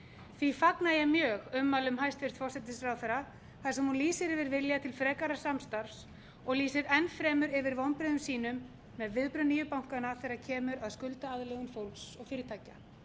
því fagna ég mjög ummælum hæstvirtur forsætisráðherra þar sem hún lýsir yfir vilja til frekara samstarfs og lýsir enn fremur yfir vonbrigðum með viðbrögð nýju bankanna þegar kemur að skuldaaðlögun fólks og fyrirtækja